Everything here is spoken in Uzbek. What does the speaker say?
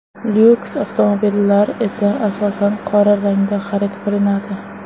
Lyuks avtomobillar esa, asosan, qora rangda xarid qilinadi.